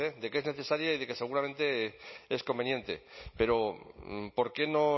de que es necesaria y de que seguramente es conveniente pero por qué no